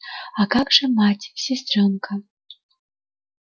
а как же мать сестрёнка